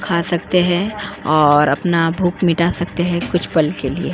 खा सकते हैं और अपना भूख मिटा सकते हैं कुछ पल के लिए।